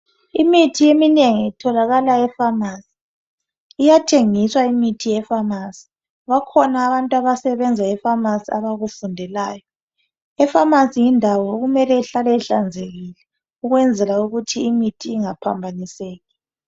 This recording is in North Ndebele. Imithi eminengi itholakala epharmacy. Iyathengiswa imithi ye pharmacy. Bakhona abantu abasebenza epharmacy abakufundelayo. Epharmacy yindawo okumele ihlale ihlanzekile ukwenzela ukuthi imithi ingaphambaniseki.